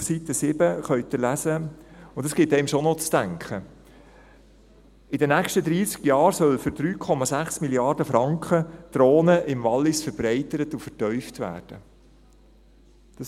Auf Seite 7 können Sie lesen – und das gibt einem schon zu denken –, dass in den nächsten dreissig Jahren für 3,6 Mrd. Franken die Rhone im Wallis verbreitert und vertieft werden soll.